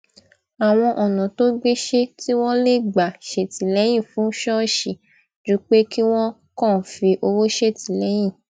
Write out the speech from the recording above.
àwọn ònà tó gbéṣé tí wón lè gbà ṣètìléyìn fún ṣóòṣì ju pé kí wón kàn fi owó ṣètìléyìn